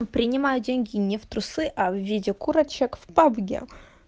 принимаю деньги не в трусы а в виде курочек в пабге